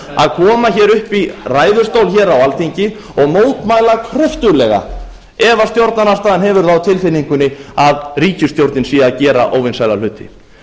að koma hér upp í ræðustól hér á alþingi og mótmæla kröftuglega ef stjórnarandstaðan hefur það á tilfinningunni að ríkisstjórnin sé að gera óvinsæla hluti